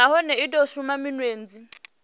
nahone i do shuma minwedzi